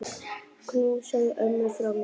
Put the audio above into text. Knúsaðu ömmu frá mér.